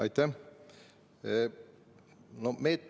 Aitäh!